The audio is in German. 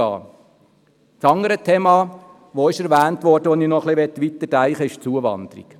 Das andere Thema, welches erwähnt wurde, und zu welchem ich etwas weiterdenken möchte, ist die Zuwanderung.